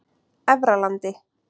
Efralandi